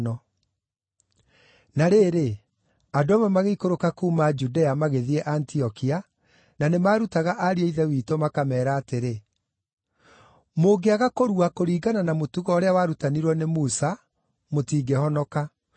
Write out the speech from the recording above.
Na rĩrĩ, andũ amwe magĩikũrũka kuuma Judea magĩthiĩ Antiokia, na nĩmarutaga ariũ a Ithe witũ makameera atĩrĩ: “Mũngĩaga kũrua kũringana na mũtugo ũrĩa warutanirwo nĩ Musa, mũtingĩhonoka.”